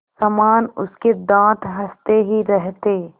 समान उसके दाँत हँसते ही रहते